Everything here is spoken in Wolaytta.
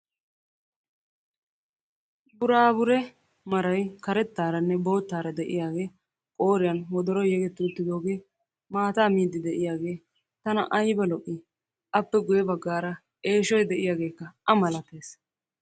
Buraabure maray karettaaranne boottaara de'iyaagee qooriyan wodoroyi yegetti uttidooge maataa miiddi de'iyaagee tana ayiba lo"ii! appe guyye baggaara eeshoyi de'iyageekka a malates.